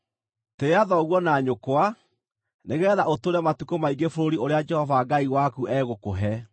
“Tĩĩa thoguo na nyũkwa, nĩgeetha ũtũũre matukũ maingĩ bũrũri ũrĩa Jehova Ngai waku egũkũhe.